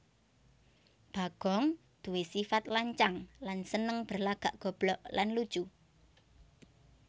Bagong duwé sifat lancang lan seneng berlagak goblok lan lucu